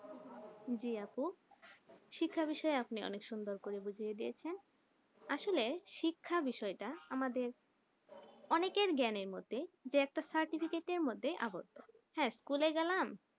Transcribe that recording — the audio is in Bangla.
জি আপু শিক্ষা বিষয়ে আপনি অনেক সুন্দর করে বুঝিয়ে দিয়েছেন আসলে শিক্ষা বিষয়টা আমাদের অনেকের জ্ঞানের মতে যে একটা certificate মধ্যে আবদ্ধ হ্যাঁ school গেলাম